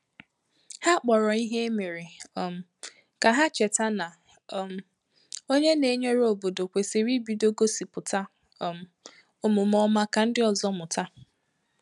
Ha kpọrọ ìhè e mere um ka ha cheta na um ònye na-enyere óbodo kwesịrị ibido gosipụta um omume ọma ka ndị ọzọ mụta.